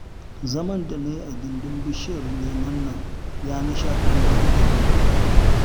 Zaman da na yi a gindin bishiyar lemon nan ya nishaɗantar da ni